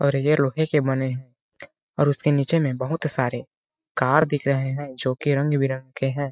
और ये अपने लोहे के बने और उसके नीचे में बहोत सारे कार दिख रहे है जो कि रंग-बिरंगे है।